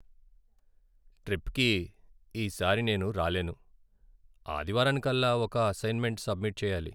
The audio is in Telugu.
ట్రిప్కి ఈ సారి నేను రాలేను. ఆదివారానికల్లా ఒక అసైన్మెంట్ సబ్మిట్ చెయ్యాలి.